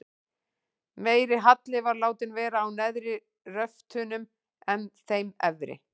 Meiri halli var látinn vera á neðri röftunum en þeim efri.